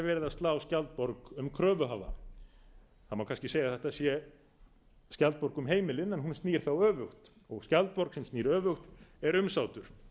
að slá skjaldborg um kröfuhafa það má kannski segja að þetta sé skjaldborg heimilin en hún snýr þá öfugt sú skjaldborg sem snýr öfugt er umsátur